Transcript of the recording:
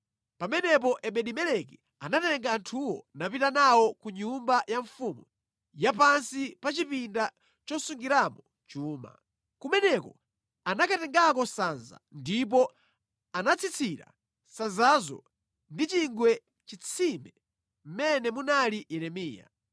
Pamenepo Ebedi-Meleki anatenga anthuwo, napita nawo ku nyumba ya mfumu ya pansi pa chipinda chosungiramo chuma. Kumeneko anakatengako sanza ndipo anatsitsira sanzazo ndi chingwe mʼchitsime mʼmene munali Yeremiya.